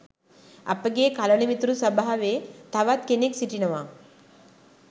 අපගේ කළණමිතුරු සභාවේ තවත් කෙනෙක් සිටිනවා.